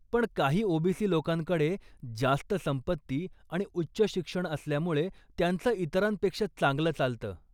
पण काही ओबीसी लोकांकडे जास्त संपत्ती आणि उच्च शिक्षण असल्यामुळे त्यांचं इतरांपेक्षा चांगलं चालतं.